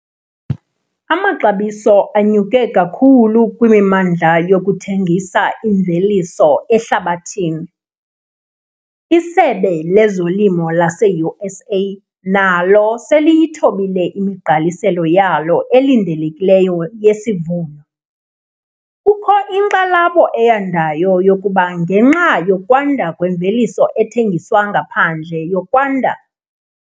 Amaxabiso anyuke kakhulu kwimimandla yokuthengisa imveliso ehlabathini. ISebe lezoLimo laseUSA nalo seliyithobile imigqaliselo yalo elindelekileyo yesivuno. Kukho inkxalabo eyandayo yokuba ngenxa yokwanda kwemveliso ethengiswa ngaphandle yokwanda